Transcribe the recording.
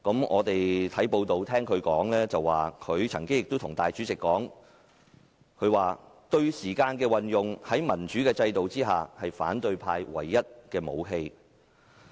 我們從報道得悉，他對主席說："對時間的運用，在民主制度下是反對派唯一的武器"。